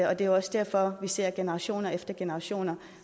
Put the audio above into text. og det er også derfor vi ser generation efter generation